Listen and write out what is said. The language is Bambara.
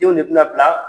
Denw de bina bila